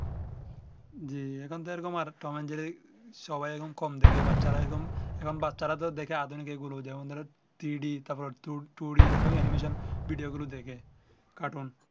জ্বি এখন তো আর টম এন্ড জেরি সবাই এখন কম দেখে বাচ্চারা এরকম এখন বাচ্চারা তো দেখে আধুনিক এই গুলো three ডি two ডি এই রকম এনিম্যাশন ভিডিও গুলো দেখে কাটুন